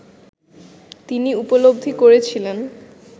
তিনি উপলব্ধি করেছিলেন